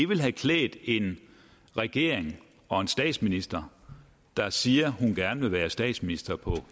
ville have klædt en regering og en statsminister der siger at hun gerne vil være statsminister for